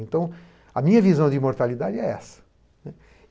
Então, a minha visão de imortalidade é essa, né.